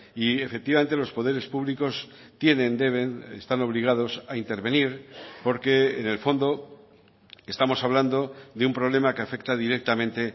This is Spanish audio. y efectivamente los poderes públicos tienen deben están obligados a intervenir porque en el fondo estamos hablando de un problema que afecta directamente